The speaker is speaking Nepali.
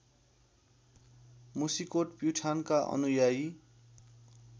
मुसिकोट प्युठानका अनुयायी